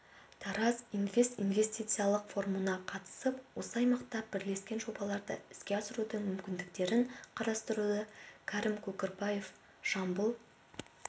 тараз инвест инвестициялық форумына қатысып осы аймақта бірлескен жобаларды іске асырудың мүмкіндіктерін қарастырды кәрім көкірекбаев жамбыл